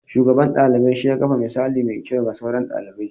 Shugaban ɗalibai shi ya kafa misali mai kyau ga sauran ɗalibi.